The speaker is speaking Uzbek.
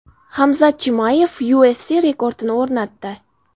Hamzat Chimayev UFC rekordini o‘rnatdi.